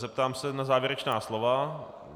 Zeptám se na závěrečná slova.